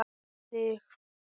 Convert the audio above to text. Um þig.